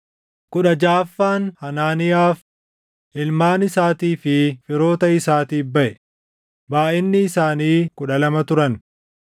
kudha jaʼaffaan Hanaaniyaaf, // ilmaan isaatii fi firoota isaatiif baʼe; // baayʼinni isaanii kudha lama turan